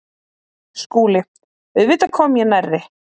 SKÚLI: Auðvitað kom ég nærri.